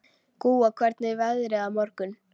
Gúa, hvernig er veðrið á morgun?